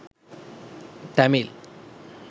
tamil